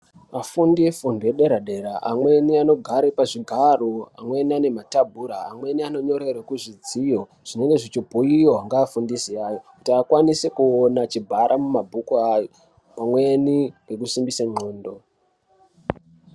Afundi efundo yedera dera amweni anogare pazvigaro amweni anematabhura amweni anonyorerwa kuzvidziyo zvinenge zvichibhuiwa ngeafundisi ayo kuti akwanise kuona bara mumabhuku awo pamweni nekusimbise ndxondo.